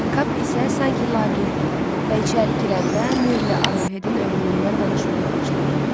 Kap isə sanki laqeyd idi və içəri girəndə Mürlə Arohedin ölümündən danışmağa başladı.